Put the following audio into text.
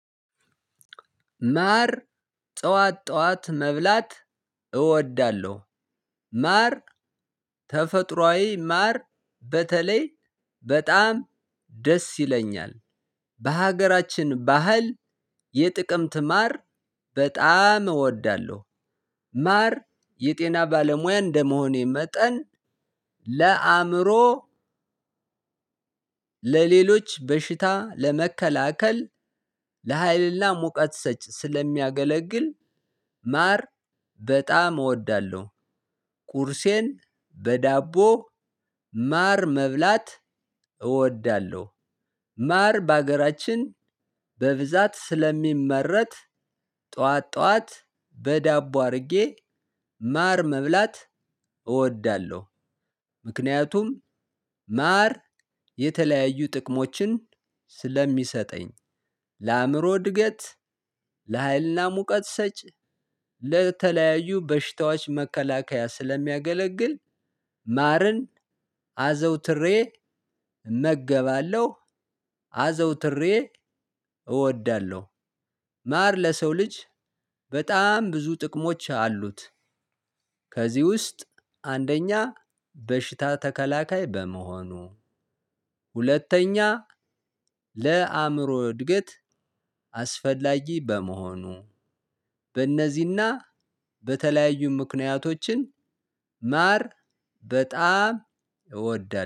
ማር ጠዋት ጠዋት መብላት እወዳለሁ። ማር ተፈጥሮአዊ ማር በተለይ በጣም ደስ ይለኛል በሀገራችን ባህል የጥቅምት ማር በጣም እወዳለሁ። ማር የጤና ባለሙያ እንደመሆኔ መጠን። ለአእምሮ ለሌሎች በሽታ ለመከላከል ለሃይልና ሙቀት ሰጭ ስለሚያገለግል ማር በጣም እወዳለሁ። ቁርሴን በዳቦ ማር መብላት እወዳለሁ። ማር በሀገራችን በብዛት ስለሚመረት ጠዋት ጠዋት በዳቦ አድርጌ ማር መብላት እወዳለሁ። ምክንያቱም ማር የተለያዩ ጥቅሞችን ስለሚሰጠኝ ለአእምሮ እድገት ለሀይልና ሙቀት ሰጪ ለተለያዩ በሽታዎች መከላከያ ስለሚያገለግል ማርን አዘውትሬ እመገባለሁ አዘውትሬ እወዳለሁ። ማር ለሰው ልጅ በጣም ብዙ ጥቅሞች አሉት። ከዚህ ውስጥ አንደኛ በሽታ ተከላካይ በመሆኑ። ሁለተኛ ለአእምሮ እድገት አስፈላጊ በመሆኑ። በእነዚህና በተለያዩ ምክንያቶችን ማር በጣም እወዳለሁ